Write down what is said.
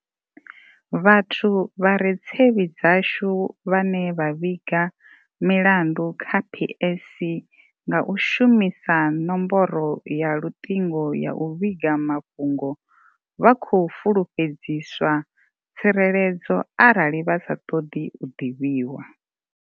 Vhathu vha re tsevhi dzashu vhane vha vhiga milandu kha PSC nga u shumisa nomboro ya luṱingo ya u vhiga mafhungo vha khou fulufhedziswa tsireledzo arali vha sa ṱoḓi u ḓivhiw.